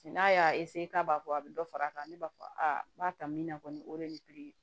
N'a y'a k'a b'a fɔ a bɛ dɔ fara a kan ne b'a fɔ aa n b'a ta min na kɔni o de ye nin piri ye